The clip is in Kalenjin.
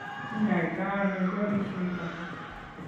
Kiny'aayto ano Jones syndrome?